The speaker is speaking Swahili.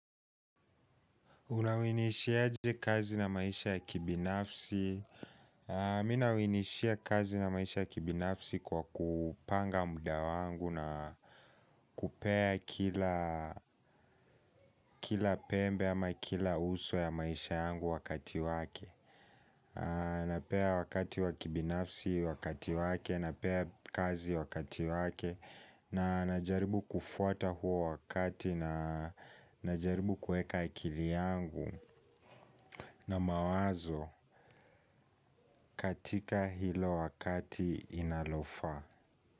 Unawinishi aje kazi na maisha ya kibinafsi. Mimi na winishia kazi na maisha ya kibinafsi kwa kupanga muda wangu na kupea kila pembe ama kila uso ya maisha yangu wakati wake. Napea wakati wa kibinafsi wakati wake, napea kazi wakati wake. Na najaribu kufuata huo wakati na najaribu kuweka akili yangu. Na mawazo katika hilo wakati inalofaa.